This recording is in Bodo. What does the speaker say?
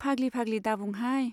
फाग्लि फाग्लि दाबुंहाय।